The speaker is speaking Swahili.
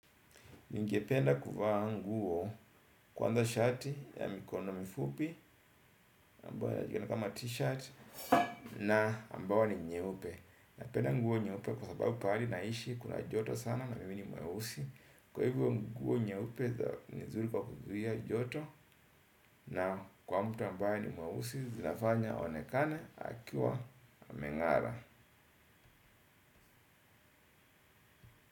Ni ngependa kuvaa nguo kwanza shati ya mikono na mifupi ambayo inajulikana kama t-shirt na ambayo ni nyeupe na penda nguo nyeupe kwa sababu pahali naishi kuna joto sana na mimi ni mweusi kwa hivyo nguo nyeupe ni nzuri kwa kuzuia joto na kwa mtu ambaye ni mweusi zinafanya aonekane akiwa ameng'ara.